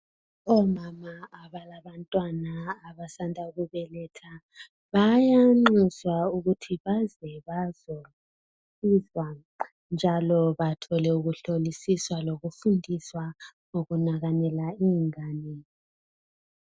Omama abalabantwana abasanda kubeletha bayanxuswa ukuthi baze bazofunda njalo bathole ukuhlolisisa lokufunda ngokunakakela ingane.